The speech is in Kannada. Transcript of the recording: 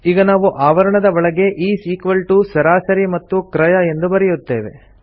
ಈಗ ನಾವು ಆವರಣದ ಒಳಗೆ ಇಸ್ ಇಕ್ವಾಲ್ ಟಿಒ ಸರಾಸರಿ ಮತ್ತು ಕ್ರಯ ಎಂದು ಬರೆಯುತ್ತೇವೆ